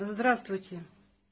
здравствуйте